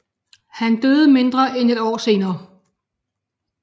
Han døde mindre end et år senere